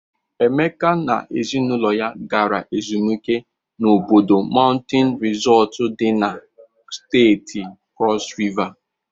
Emeka na ezinaụlọ ya gara ezumike n'Obudu Maụntịn Rịsọtụ dị na Steeti Krọs Riva.